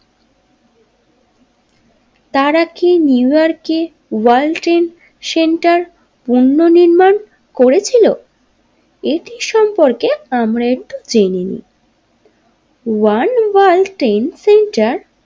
তারা কি নিউ ইয়র্কে ওর্য়াল্ড ট্রেড সেন্টার, পণ্য নির্মাণ করেছিল এটির সম্পর্কে আমরা একটু জেনে নি ওয়ার্ল্ড ওয়ার ট্রেড সেন্টার।